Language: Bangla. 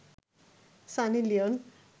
সানি লিওন